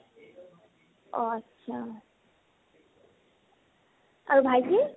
অ । আত্চ্চা। আৰু ভাইতি ?